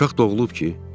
Uşaq doğulub ki?